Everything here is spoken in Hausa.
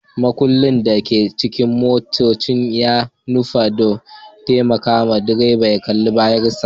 Mudubin da ke cikin motoci ya nufa don taimakawa direban ya kalli bayansa